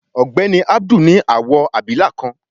Ògbéni Abdul ní awọ abilà kán